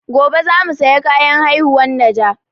Gobe za mu saya kayan haihuwan najah